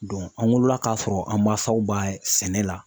an wolola k'a sɔrɔ an mansaw b'a sɛnɛ la.